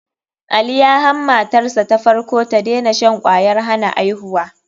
Ali ya han matarsa ta farko da tadena shan kwayar hana aihuwa.